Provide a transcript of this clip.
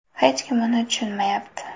Hech kim uni tushunmayapti.